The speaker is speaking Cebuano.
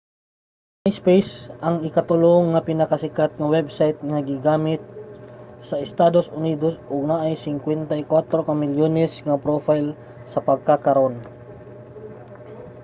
ang myspace ang ika-tulo nga pinakasikat nga website nga ginagamit sa estados unidos og naay 54 ka milyones nga profile sa pagkakaron